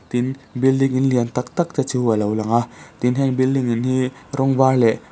tin building in lian tak tak te chu a lo lang a tin heng building in hi rawng var leh--